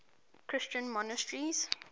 christian monasteries